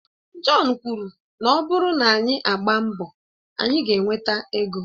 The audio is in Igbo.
John kwuru na ọ bụrụ na anyị agbaa mbọ, anyị ga-enweta ego